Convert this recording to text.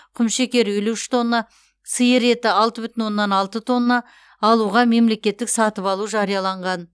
құмшекер елу үш тонна сиыр еті алты бүтін оннан алты тонна алуға мемлекеттік сатып алу жарияланған